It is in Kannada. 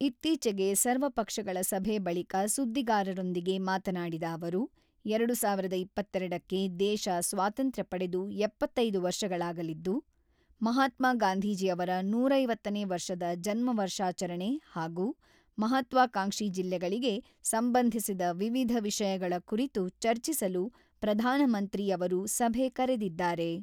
ಇತ್ತೀಚಿಗೆ ಸರ್ವಪಕ್ಷಗಳ ಸಭೆ ಬಳಿಕ ಸುದ್ದಿಗಾರರೊಂದಿಗೆ ಮಾತನಾಡಿದ ಅವರು, ಎರಡು ಸಾವಿರದ ಇಪ್ಪತ್ತೆರಡಕ್ಕೆ ದೇಶ ಸ್ವಾತಂತ್ರ್ಯ ಪಡೆದು ಎಪ್ಪತ್ತೈದು ವರ್ಷಗಳಾಗಲಿದ್ದು, ಮಹಾತ್ಮಾ ಗಾಂಧೀಜಿ ಅವರ ನೂರ ಐವತ್ತನೇ ವರ್ಷದ ಜನ್ಮ ವರ್ಷಾಚರಣೆ ಹಾಗೂ ಮಹಾತ್ವಾಕಾಂಕ್ಷಿ ಜಿಲ್ಲೆಗಳಿಗೆ ಸಂಬಂಧಿಸಿದ ವಿವಿಧ ವಿಷಯಗಳ ಕುರಿತು ಚರ್ಚಿಸಲು ಪ್ರಧಾನಮಂತ್ರಿ ಅವರು ಸಭೆ ಕರೆದಿದ್ದಾರೆ.